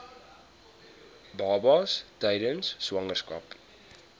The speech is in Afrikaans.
babas tydens swangerskap